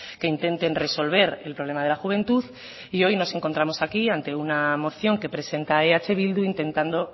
que intenten resolver el problema de la juventud y hoy nos encontramos aquí ante una moción que presenta eh bildu intentando